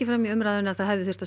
fram í umræðu að það hefði þurft að